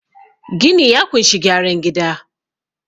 gini ya kunshi gyaran gida